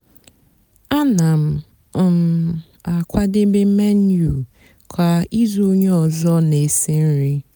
áná m um àkwádébé menu kwá ízú ónyé ọzọ nà-èsi nri.